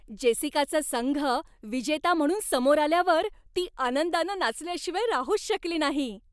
जेसिकाचा संघ विजेता म्हणून समोर आल्यावर ती आनंदानं नाचल्याशिवाय राहूच शकली नाही.